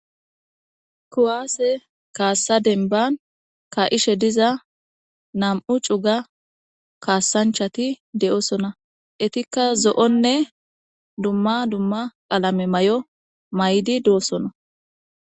Kuwaase kaassa denban ka7ishe diza nam7u cuga kaassanchati de7osona etikka zo7onne dumma dumma alame may7o may7di doosona.